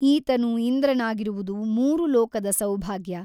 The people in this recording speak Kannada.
ಈತನು ಇಂದ್ರನಾಗಿರುವುದು ಮೂರು ಲೋಕದ ಸೌಭಾಗ್ಯ !